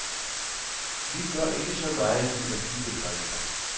Vi gør ikke så meget ud af de begreber.